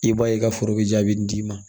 I b'a ye ka foro be jaabi nin d'i ma